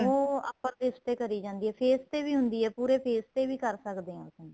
ਉਹ upper lips ਤੇ ਕਰੀ ਜਾਂਦੀ ਏ face ਤੇ ਵੀ ਹੁੰਦੀ ਏ ਪੂਰੇ face ਤੇ ਵੀ ਕਰ ਸਕਦੇ ਹਾਂ ਆਪਾਂ